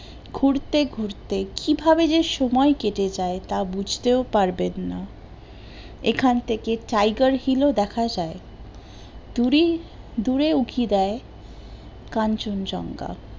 ঘুরতে ঘুরতে কিভাবে যে সময় কেটে যায় তা বুঝতেও পারবেন না, এখন থেকে টাইগার হিল ও দেখা যায়, দূরে দূরে উঁকি দেয় কাঞ্চন জংঘা